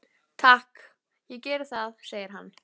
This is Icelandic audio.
Takk, ég geri það, segir hann.